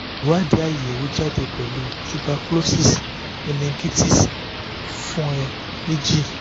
iwadi ayewo mi jade pelu tuberclosis menengitis fun e meji